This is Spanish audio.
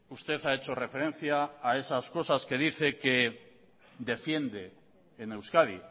usted ha hecho referencia a esas cosas que dice que defiende en euskadi